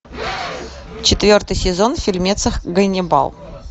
четвертый сезон фильмеца ганнибал